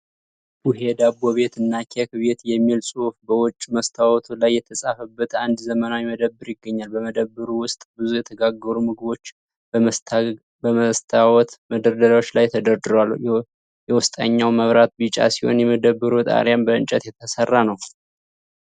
"ቡሄ ዳቦ ቤት እና ኬክ ቤት" የሚል ጽሑፍ በውጭ መስታወቱ ላይ የተጻፈበት አንድ ዘመናዊ መደብር ይገኛል። በመደብሩ ውስጥ ብዙ የተጋገሩ ምግቦች በመስታወት መደርደሪያዎች ላይ ተደርድረዋል። የውስጠኛው መብራት ቢጫ ሲሆን የመደብሩ ጣሪያም በእንጨት የተሠራ ነው።